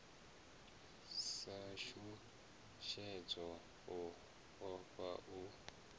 sa shushedzwa u ofha u